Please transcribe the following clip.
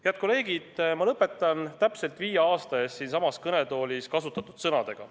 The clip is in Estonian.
Head kolleegid, ma lõpetan täpselt viie aasta eest siinsamas kõnetoolis kasutatud sõnadega.